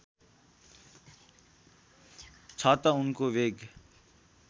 छ त उनको वेग